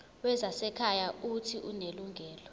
wezasekhaya uuthi unelungelo